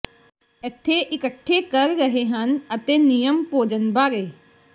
ਇੱਥੇ ਇਕੱਠੇ ਕਰ ਰਹੇ ਹਨ ਅਤੇ ਨਿਯਮ ਭੋਜਨ ਬਾਰੇ